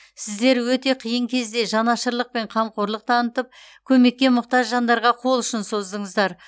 сіздер өте қиын кезде жанашырлық пен қамқорлық танытып көмекке мұқтаж жандарға қол ұшын создыңыздар